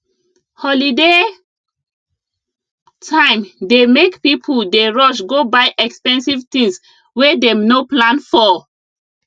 holiday time dey make people dey rush go buy expensive things wey dem no plan for